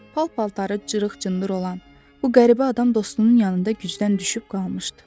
Pal-paltarı cırıq-cındır olan bu qəribə adam dostunun yanında gücdən düşüb qalmışdı.